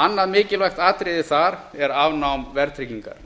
annað mikilvægt atriði þar er afnám verðtryggingar